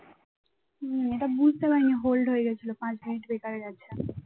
হম এটা বুঝতে পারিনি hold হয়ে গিয়েছিল পাঁচ minute বেকার গেছে